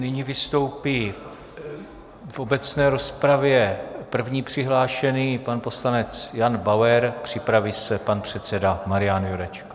Nyní vystoupí v obecné rozpravě první přihlášený, pan poslanec Jan Bauer, připraví se pan předseda Marian Jurečka.